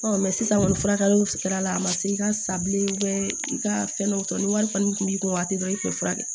sisan kɔni furakɛliw sigira a ma se i ka sabilen i ka fɛn dɔ tɔ ni wari kɔni kun b'i kun a ti dɔn i kun tɛ furakɛ